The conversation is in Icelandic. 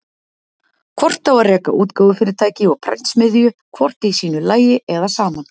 Hvort á að reka útgáfufyrirtæki og prentsmiðju hvort í sínu lagi eða saman?